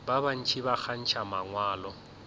ba bantši ba kgantšha mangwalo